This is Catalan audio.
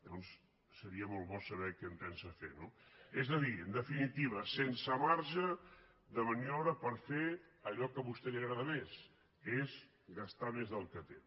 llavors seria molt bo saber què pensa fer no és a dir en definitiva sense marge de maniobra per fer allò que a vostè li agrada més que és gastar més del que té